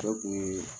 Ne kun ye